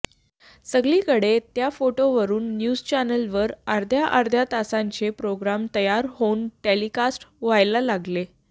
सगळीकडे त्या फोटोवरून न्यूज चॅनेलवर अर्ध्या अर्ध्या तासांचे प्रोग्राम तयार होऊन टेलिकास्ट व्हायला लागले